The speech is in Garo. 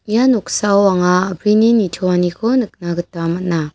ia noksao anga a·brini nitoaniko nikna gita man·a.